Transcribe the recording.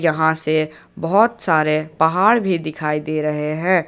यहा से बहोत सारे पहाड़ भी दिखाई दे रहे हैं।